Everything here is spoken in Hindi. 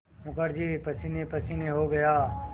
मुखर्जी पसीनेपसीने हो गया